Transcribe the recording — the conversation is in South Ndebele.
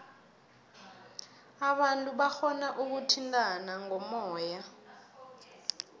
abantu barhona ukuthintana ngomoya